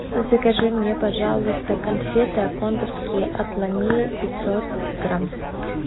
закажи мне пожалуйста конфеты аккондовские отломи пятьсот грамм